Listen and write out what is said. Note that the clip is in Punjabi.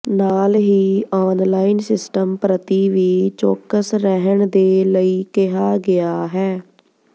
ਨਾਲ ਹੀ ਆਨਲਾਈਨ ਸਿਸਟਮ ਪ੍ਰਤੀ ਵੀ ਚੌਕਸ ਰਹਿਣ ਦੇ ਲਈ ਕਿਹਾ ਗਿਆ ਹੈ